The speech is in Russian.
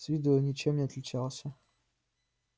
с виду он ничем не отличался